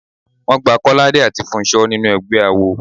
Wọ́n gba Kọ́ládé àti Fúnṣọ́ sínú ẹgbẹ́ awo.